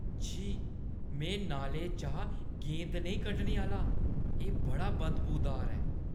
छी, में नाले चा गेंद नेईं कड्ढने आह्‌ला । एह् बड़ा बदबूदार ऐ।